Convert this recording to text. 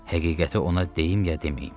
Həqiqəti ona deyim ya deməyim.